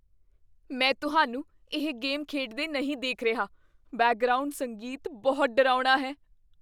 ਮੈਂ ਤੁਹਾਨੂੰ ਇਹ ਗੇਮ ਖੇਡਦੇ ਨਹੀਂ ਦੇਖ ਰਿਹਾ। ਬੈਕਗ੍ਰਾਉਂਡ ਸੰਗੀਤ ਬਹੁਤ ਡਰਾਉਣਾ ਹੈ!